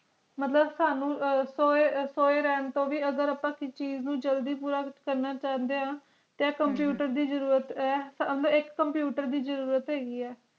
ਮੁਤਲਿਬ ਸਾਨੂ ਸੋਏ ਸੋਏ ਰੈਣ ਤੂੰ ਵੀ ਅਗਰ ਅੱਪਾ ਕਿਸੀ ਚੀਜ਼ ਨੂੰ ਜਲਦੀ ਪੂਰਾ ਕਰਨਾ ਕਹਾਣੀਆਂ ਤੇ ਹਮ computer ਦੀ ਜ਼ਰੂਰਤ ਹੈ ਤੇ ਹਾਮੀ ਇਕ computer ਦੀ ਜ਼ਰੂਰਤ ਹੈ